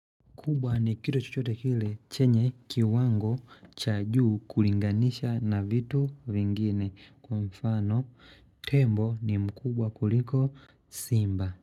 Kubwa ni kitu chochote kile chenye kiwango cha juu kulinganisha na vitu vingine. Kwa mfano tembo ni mkubwa kuliko simba.